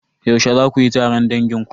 Yaushe za kuyi taron dangin ku?